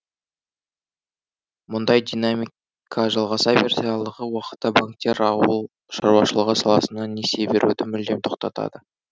мұндай динамика жалғаса берсе алдағы уақытта банктер ауыл шаруашылығы саласына несие беруді мүлдем тоқтатады